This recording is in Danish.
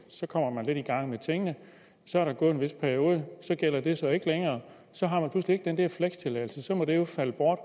så kommer man lidt i gang med tingene og så er der gået en vis periode og så gælder den så ikke længere så har man pludselig ikke længere den der flekstilladelse og så må den jo falde bort